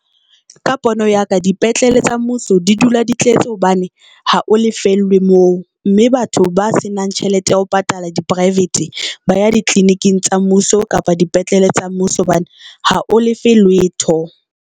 Ka pono ya ka dipetlele tsa mmuso di dula di tletse hobane ha o lefellwe moo, mme batho ba se nang tjhelete ya ho patala di-private ba ya ditleliniking tsa mmuso kapa dipetlele tsa mmuso, hobane ha o lefe letho.